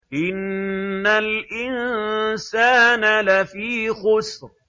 إِنَّ الْإِنسَانَ لَفِي خُسْرٍ